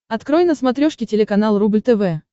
открой на смотрешке телеканал рубль тв